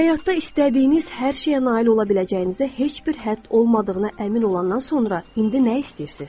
Həyatda istədiyiniz hər şeyə nail ola biləcəyinizə heç bir hədd olmadığına əmin olandan sonra indi nə istəyirsiniz?